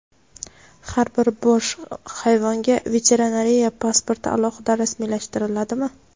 Har bir bosh hayvonga veterinariya pasporti alohida rasmiylashtiriladimi?.